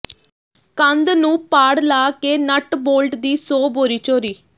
ਕੰਧ ਨੂੰ ਪਾੜ ਲਾ ਕੇ ਨਟ ਬੋਲਟ ਦੀ ਸੌ ਬੋਰੀ ਚੋਰੀ